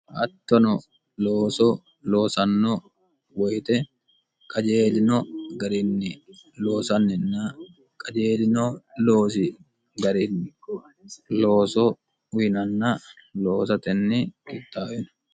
hattono looso loosanno woyite qajeelino garinni loosanninna qajeelino loosi gari looso uyinanna loosatenni kittaawino